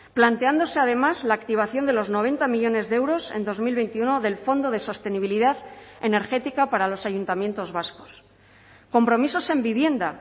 planteándose además la activación de los noventa millónes de euros en dos mil veintiuno del fondo de sostenibilidad energética para los ayuntamientos vascos compromisos en vivienda